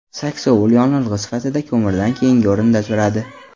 Saksovul yonilg‘i sifatida ko‘mirdan keyingi o‘rinda turadi.